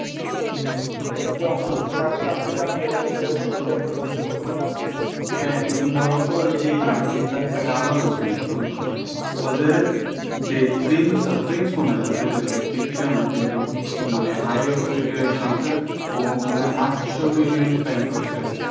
হ্যাঁ, কিন্তু মরক্কোর জিতার একটা কারণ আছে কিন্তু ওদের যে prince না president ঠিক sure না কিন্তু high authority র একজন আছে ও মনে হয় আটশো million spend করেছে।